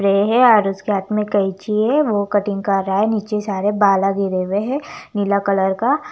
रहे है और उसके हाथ में कैंची है वो कटिंग करा है नीचे सारे बाला गिरे हुए है नीला कलर का --